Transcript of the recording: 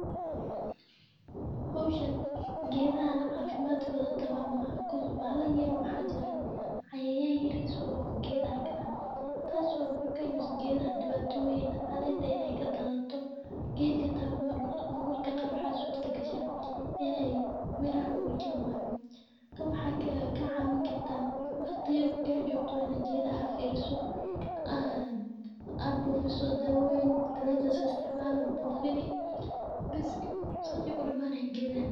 Howshan geedahan caafimaadkooda tamam maaxa koz bahala yar yara oo maxa jiran cayayaan yiriis oo geedaha galaan taasoo u keenayso geedaha dhibaatoyin caleenta inay ka daadato. geedka hataa mar marka qaar waxa suurta gashaa inay miraha uu keeni wayo kaan waxay ka cawin karta waqti yar marka joogto waa ina geedaha aa fiiriso ...aaad buufiso dawoyin dalaja aa so isticmaala waa buufini bees saas ay kudamanayin geedahan.